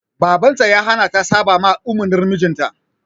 Baban ta ya hana ta saɓama umurnin mijinta.